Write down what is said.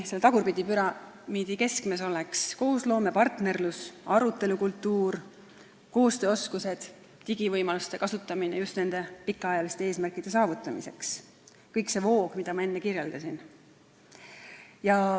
Selle tagurpidi püramiidi keskmes oleks koosloome, partnerlus, arutelukultuur, koostööoskused, digivõimaluste kasutamine just nende pikaajaliste eesmärkide saavutamiseks – kogu see voog, mida ma enne kirjeldasin.